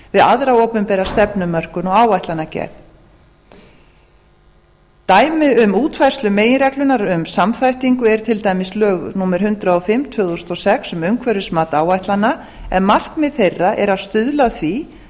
við aðra opinbera stefnumörkun og áætlanagerð dæmi um útfærslu meginreglunnar um samþættingu er til dæmis lög númer hundrað og fimm tvö þúsund og sex um umhverfismat áætlana en markmið þeirra er að stuðla að því